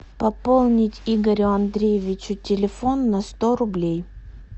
пополнить игорю андреевичу телефон на сто рублей